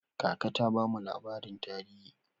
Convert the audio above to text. Kaka ta bamu labarin tarihi.